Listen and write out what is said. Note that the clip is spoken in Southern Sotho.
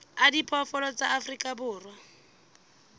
a diphoofolo tsa afrika borwa